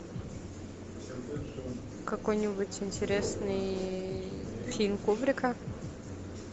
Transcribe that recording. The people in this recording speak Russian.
какой нибудь интересный фильм кубрика